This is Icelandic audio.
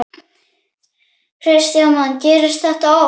Kristján Már: Gerist þetta oft?